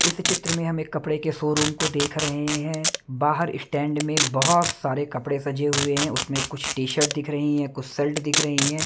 इस चित्र में हम एक कपड़े के शोरूम को देख रहे हैं बाहर इशटैंड में बहुत सारे कपड़े सजे हुए हैं उसमें कुछ टी शर्ट दिख रही हैं कुछ सलट दिख रही हैं।